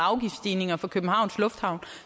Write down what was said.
eller afgiftsstigninger fra københavns lufthavn